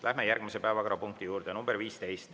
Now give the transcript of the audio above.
Läheme järgmise, 15. päevakorrapunkti juurde.